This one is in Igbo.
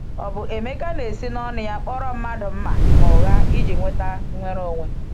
Ọ̀ bụ Emeka na-esi n’ọnụ́ ya kpọrọ mmadụ mma n’ụgha iji nweta nnwere onwe?